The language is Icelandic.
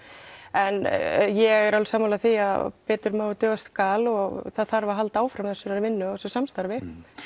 en ég er alveg sammála því að betur má en duga skal og það þarf að halda áfram þessari vinnu og þessu samstarfi